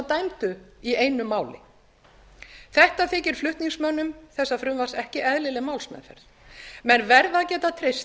dæmdu í einu máli þetta þykir flutningsmönnum þessa frumvarps ekki eðlileg málsmeðferð menn verða að geta treyst